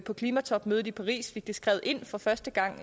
på klimatopmødet i paris og fik den skrevet ind for første gang